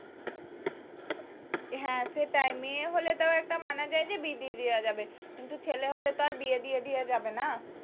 হ্যাঁ সেটাই মেয়ে হলে তাও একটা মানা যায় যে বিয়ে দিয়ে দেওয়া যাবে কিন্তু ছেলে হলে তার বিয়ে দিয়ে দেওয়া যাবে না